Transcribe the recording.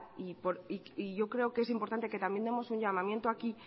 y yo creo que es importante que también demos un llamamiento aquí